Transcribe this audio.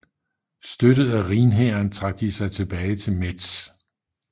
Støttet af Rhinhæren trak de sig tilbage til Metz